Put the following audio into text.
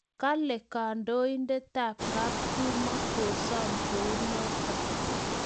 Kale kandoindetab kaptumo kosom kuonotok